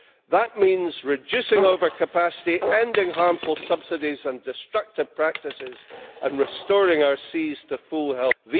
That means reducing overcapacity, ending harmful subsidies and destructive practices, and restoring our seas to full health.